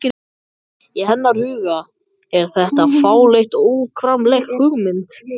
Í hennar huga er þetta fráleit og óframkvæmanleg hugmynd.